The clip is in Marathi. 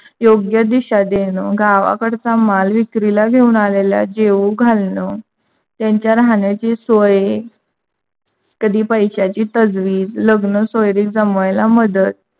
योग्य दिशा देन. गावाकडचा माल विक्रीला घेऊन आलेल्या जेवू घालण त्यांच्या राहण्याच्या सोय. कधी पैशाची तजवीज. लग्न सोयरीक जमवायला मदत